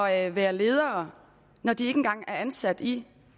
at være ledere når de ikke engang er ansat i